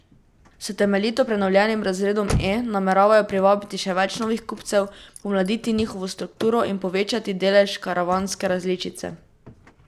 S temeljito prenovljenim razredom E nameravajo privabiti še več novih kupcev, pomladiti njihovo strukturo in povečati delež karavanske različice.